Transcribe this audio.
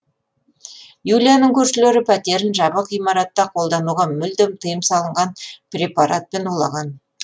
юлияның көршілері пәтерін жабық ғимаратта қолдануға мүлдем тыйым салынған препаратпен улаған